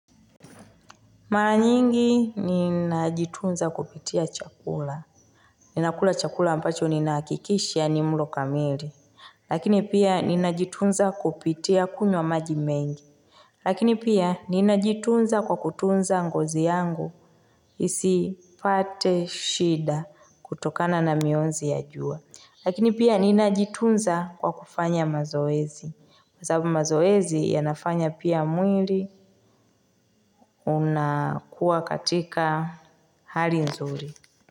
Mara nyingi ninajitunza kupitia chakula. Ninakula chakula ambacho ninahakikisha ni mlo kamili. Lakini pia ninajitunza kupitia kunywa maji mengi. Lakini pia ninajitunza kwa kutunza ngozi yangu. Isipate shida kutokana na mionzi ya jua. Lakini pia ninajitunza kwa kufanya mazoezi. Kwa sababu mazoezi yanafanya pia mwili. Unakuwa katika hali nzuri.